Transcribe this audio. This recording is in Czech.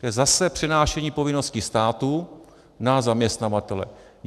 To je zase přenášení povinnosti státu na zaměstnavatele.